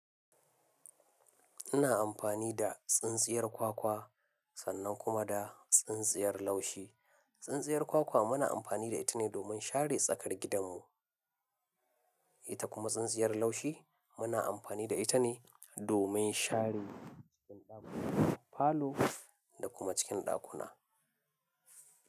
Ina amfani da tsintsiyar kwakwa sannan kuma da tsintsiyar laushi. Tsintsiyar kwakwa muna amfani da ita ne domin share tsakar gidanmu. Ita kuma tsintsiyar laushi muna amfani da ita ne domin share cikin ɗakuna falo da kuma cikin ɗakuna.